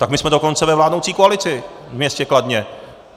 Tak my jsme dokonce ve vládnoucí koalici ve městě Kladně.